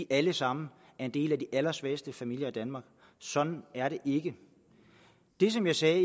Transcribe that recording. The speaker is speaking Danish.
alle sammen er en del af de allersvageste familier i danmark sådan er det ikke det som jeg sagde